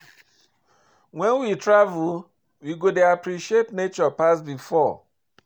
When we travel, we go dey appreciate nature pass before